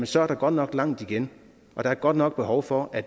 så er der godt nok langt igen og der er godt nok behov for at